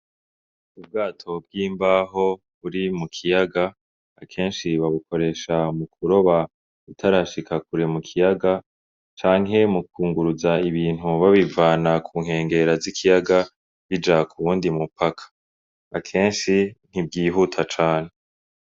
Ubwato bw'imbaho buri mukiyaga akenshi babukoresha m'ukuroba utarashika kure mukiyaga ,canke m'ukunguruza ibintu babivana ku nkengera z’ikiyaga bija k'uwundi mupaka, akenshi ntibwihuta cane.